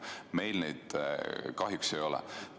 Meil seda kahjuks ei ole.